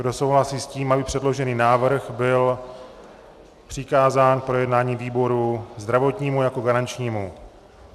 Kdo souhlasí s tím, aby předložený návrh byl přikázán k projednání výboru zdravotnímu jako garančnímu?